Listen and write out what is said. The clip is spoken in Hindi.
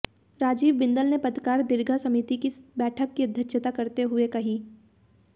राजीव बिंदल ने पत्रकार दीर्घा समिति की बैठक की अध्यक्षता करते हुए कही